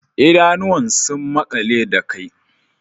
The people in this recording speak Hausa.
Idanuwan sun makale da kai